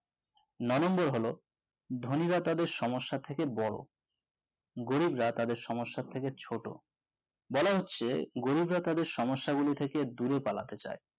নয় number হলো ধনীরা তাদের সমস্যা থেকে বড় গরিবরা তাদের সমস্যা থেকে ছোট বলা হচ্ছে তাদের সমস্যা গুলি থেকে দূরে পালাতে চাই